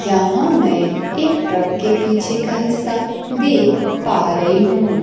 यहां मैं एक ट्रक के पीछे का हिस्सा देख पा रही हूं।